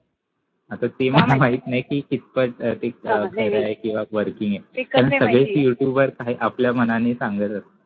आता ते काय मला माहिती नाही कि किटपक खरंय किंवा working आहे कारण सगळेच youtuber आपल्या मनानी सांगत असतात